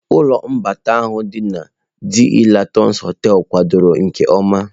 Ụlọ mgbatị ahụ dị na DE Latinos hoteelu kwadoro nke ọma.